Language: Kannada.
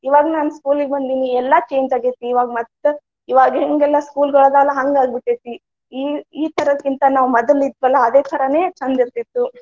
ಇವಾಗ ನಾನ school ಗೆ ಬಂದಿದೀನಿ ಎಲ್ಲಾ change ಆಗೇತಿ ಇವಾಗ ಮತ್ತ. ಇವಾಗ ಹೆಂಗಲ್ಲ school ಗೊಳ ಆಗ್ಯಾವಲಾ ಹಂಗ ಆಗಿ ಬಿಟ್ಟೆತಿ. ಈ ಈ ತರದಕ್ಕಿಂತಾ ನಾವ ಮೊದಲ್ ಇದ್ವಲಾ ಅದೇ ತರಾನೆ ಚಂದ ಇರ್ತಿತ್ತು.